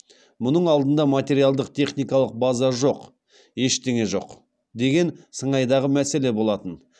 мұның алдында материалдық техникалық база жоқ ештеңе жоқ деген сыңайдағы мәселе болатын